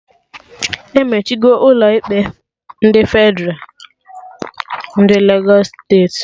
Emechigo Ụlọ ikpe Fedralụ ndị Legos steeti